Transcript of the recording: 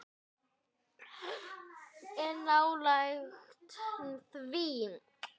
En nálægt því.